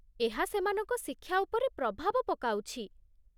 ଏହା ସେମାନଙ୍କ ଶିକ୍ଷା ଉପରେ ପ୍ରଭାବ ପକାଉଛି।